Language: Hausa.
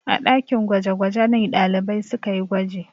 A ɗakin gwaje-gwaje ne ɗalibai suka yi gwaji.